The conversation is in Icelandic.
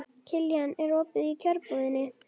Kiljan, er opið í Kjörbúðinni?